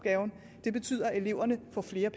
jeg